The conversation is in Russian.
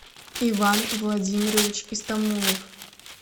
иван владимирович истамулов